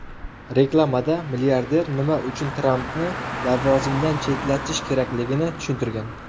Reklamada milliarder nima uchun Trampni lavozimdan chetlatish kerakligini tushuntirgan.